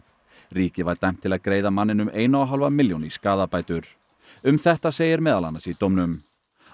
ríkið var dæmt til að greiða manninum eina og hálfa milljón í skaðabætur um þetta segir meðal annars í dómnum